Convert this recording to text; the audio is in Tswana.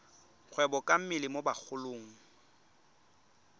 kgwebo ka mmele mo bagolong